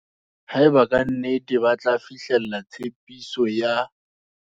Haeba ka nnete re batla fihlella tshepiso ya.